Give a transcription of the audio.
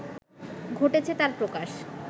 ঘটেছে তার প্রকাশ